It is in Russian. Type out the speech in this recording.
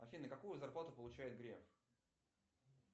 афина какую зарплату получает греф